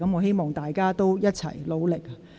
希望議員一起努力。